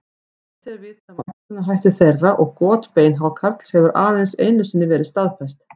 Lítið er vitað um æxlunarhætti þeirra og got beinhákarls hefur aðeins einu sinni verið staðfest.